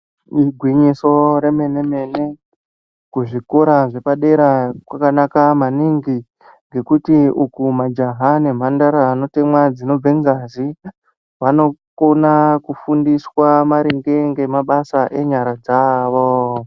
Igwinyiso remene mene kuzvikora zvepadera kwakanaka maningi ngekuti majaha nemhandara anota dzinobve ngazi vanokona kufundiswa maringe ngemabasa enyara dzavo